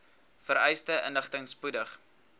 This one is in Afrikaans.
vereiste inligting spoedig